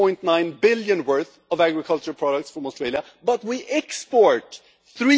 1.9 billion worth of agricultural products from Australia, but we export EUR